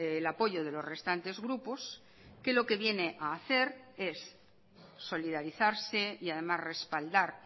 el apoyo de los restantes grupos que lo que viene a hacer es solidarizarse y además respaldar